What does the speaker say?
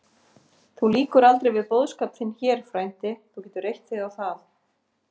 Þú lýkur aldrei við boðskap þinn hér, frændi, þú getur reitt þig á það.